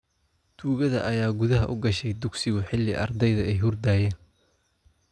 Tuugada ayaa gudaha u gashay dugsigu xilli ay ardaydu hurdayeen